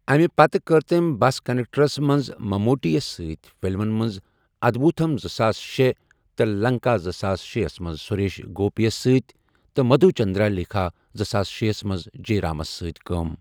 امہِ پتہٕ کٔر تٔمۍ بس کنڈکٹرَس منٛز مموٹی یَس سۭتۍ، فلمَن ادبوتھم زٕساس شے تہٕ لنکا زٕساس شے ہَس منٛز سریش گوپی یَس سۭتۍ، تہٕ مدھو چندرلیکھا زٕساس شے ہَس منٛز جےرامَس سۭتۍ کٲم